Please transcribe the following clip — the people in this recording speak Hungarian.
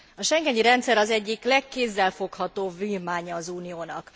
A schengeni rendszer az egyik legkézzelfoghatóbb vívmánya az Uniónak.